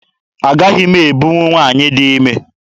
Agaghị m ebunwu nwaanyị dị ime.